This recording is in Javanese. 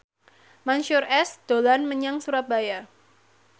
Mansyur S dolan menyang Surabaya